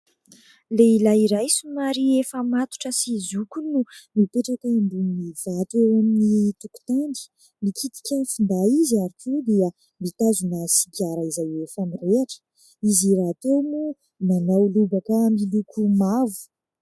Lehilahy iray somary efa matotra sy zoky no mipetraka eo ambonin'ny vato eo amin'ny tokotany, mikitika ny finday izy ary koa dia mitazona sigara izay efa mirehitra. Izy rahateo moa manao lobaka miloko mavo.